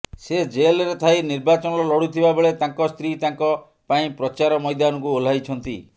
ସେ ଜେଲରେ ଥାଇ ନିର୍ବାଚନ ଲଢୁଥିବା ବେଳେ ତାଙ୍କ ସ୍ତ୍ରୀ ତାଙ୍କ ପାଇଁ ପ୍ରଚାର ମୈଦାନକୁ ଓହ୍ଲାଇଛନ୍ତି